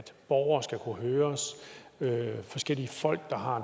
borgere skal kunne høres og at forskellige folk der har